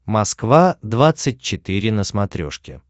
москва двадцать четыре на смотрешке